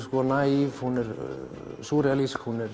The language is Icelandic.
naív hún er